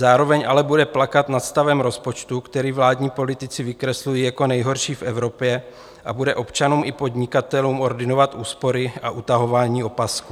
Zároveň ale bude plakat nad stavem rozpočtu, který vládní politici vykreslují jako nejhorší v Evropě, a bude občanům i podnikatelům ordinovat úspory a utahování opasků.